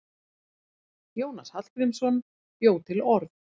Jónas Hallgrímsson bjó til orð.